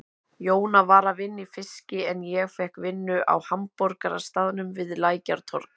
Jóna var að vinna í fiski en ég fékk vinnu á hamborgarastaðnum við Lækjartorg.